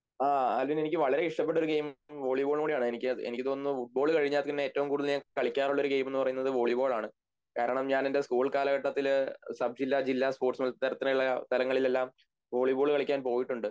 ആ ആൽവിൻ എനിക്ക് വളരെ ഇഷ്ടപ്പെട്ടൊരു ഗെയിം വോളിബോൾകൂടിയാണ് എനിക്ക് എനിക്ക് തോന്നുന്നു ഫുട്ബോൾ കഴിഞ്ഞാൽ പിന്നെ എറ്റവും കൂടുതൽ ഞാൻ കളിക്കാറുള്ളൊരു ഗെയിം എന്നുപറയുന്നത് വോളിബോളാണ് കാരണം ഞാൻ എൻ്റെ സ്കൂൾകാലഘട്ടത്തില് സബ്‌ജില്ല ജില്ലാ സ്പോർട്സ് മത്സരത്തിനുള്ള അവസരങ്ങളിലെല്ലാം വോളിബോൾ കളിയ്ക്കാൻ പോയിട്ടുണ്ട്